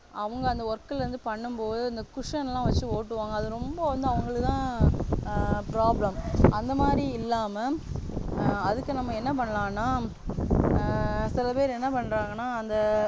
அவங்க அந்த work ல இருந்து பண்ணும் போது அந்த cushion லாம் வச்சி ஓட்டுவாங்க அது ரொம்ப வந்து அவங்களுக்குதான் problem அந்தமாதிரி இல்லாம ஆஹ் அதுக்கு நம்ம என்ன பண்ணலான்னா ஆஹ் சில பேர் என்ன பண்றாங்கன்னா அந்த